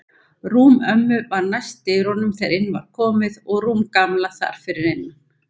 Rúm ömmu var næst dyrunum þegar inn var komið og rúm Gamla þar fyrir innan.